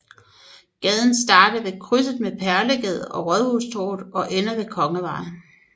Gaden starter ved krydset med Perlegade og Rådhustorvet og ender ved Kongevej